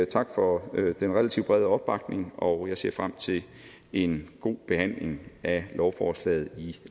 tak for den relativt brede opbakning og at jeg ser frem til en god behandling af lovforslaget i